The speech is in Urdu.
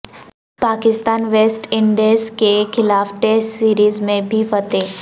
پاکستان ویسٹ انڈیز کے خلاف ٹیسٹ سیریز میں بھی فاتح